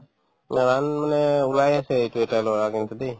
run মানে ওলাই আছে এইটো এটা ল'ৰা কিন্তু দে